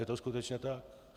Je to skutečně tak.